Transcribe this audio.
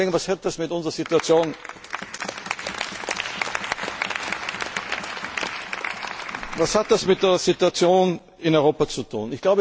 Was hat das mit der Situation in Europa zu tun?